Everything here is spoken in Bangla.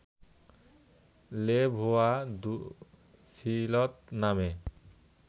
লে ভোয়া দু সিলঁস নামে